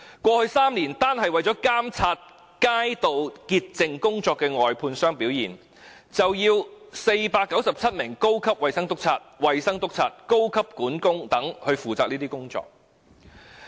過去3年，單是為監察街道潔淨工作外判商的表現，便要497名高級衞生督察、衞生督察、高級管工等負責這些工作。